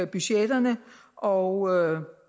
budgetterne og